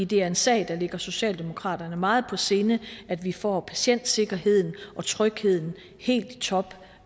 det er en sag der ligger socialdemokraterne meget på sinde at vi får patientsikkerheden og trygheden helt i top